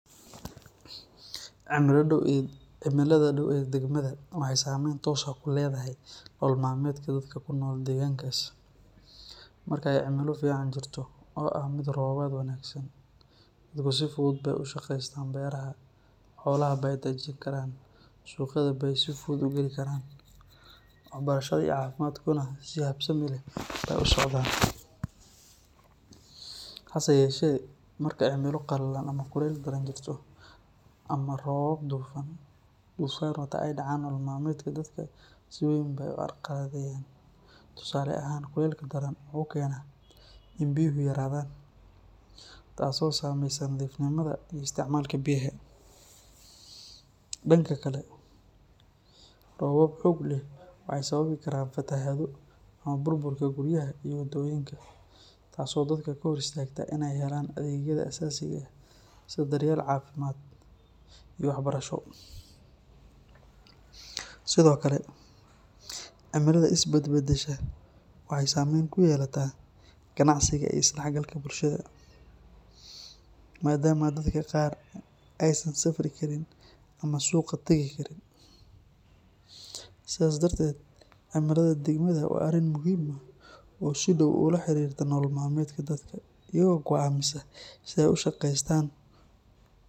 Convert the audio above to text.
Cimilada dhow ee degmada waxay saameyn toos ah ku leedahay nolol maalmeedka dadka ku nool deegaankaas. Marka ay cimilo fiican jirto oo ah mid roobaad wanaagsan leh, dadku si fudud bay ugu shaqeystaan beeraha, xoolaha bay daajin karaan, suuqyada bay si fudud u geli karaan, waxbarashada iyo caafimaadkuna si habsami leh bay u socdaan. Hase yeeshee, marka cimilo qallalan ama kulayl daran jirto, ama roobab duufaan wata ay dhacaan, nolol maalmeedka dadka si weyn bay u carqaladeeyaan. Tusaale ahaan, kulaylka daran wuxuu keenaa in biyuhu yaraadaan, taasoo saameysa nadiifnimada iyo isticmaalka biyaha. Dhanka kale, roobab xoog leh waxay sababi karaan fatahaado ama burburka guryaha iyo waddooyinka, taasoo dadka ka hor istaagta inay helaan adeegyada aasaasiga ah sida daryeel caafimaad iyo waxbarasho. Sidoo kale, cimilada is bedbedesha waxay saameyn ku yeelataa ganacsiga iyo isdhexgalka bulshada, maadaama dadka qaar aysan safri karin ama suuqa tagi karin. Sidaas darteed, cimilada degmada waa arrin muhiim ah oo si dhow ula xiriirta nolol maalmeedka dadka, iyadoo go'aamisa sida ay u shaqeystaan.